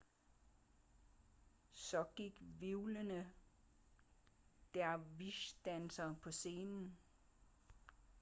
så gik hvirvlende dervish-dansere på scenen